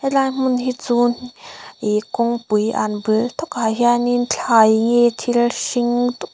tlai hmun hi chun ihh kawngpui an bul takah hianin thlai hi thil hring tuk--